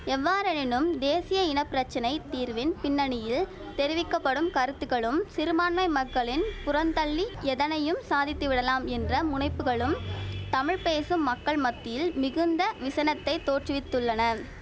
எவ்வாறெனினும் தேசிய இன பிரச்சனை தீர்வின் பின்னணியில் தெரிவிக்க படும் கருத்துக்களும் சிறுபான்மை மக்களின் புறந்தள்ளி எதனையும் சாதித்து விடலாம் என்ற முனைப்புக்களும் தமிழ் பேசும் மக்கள் மத்தியில் மிகுந்த விசனத்தைத் தோற்று வித்துள்ளன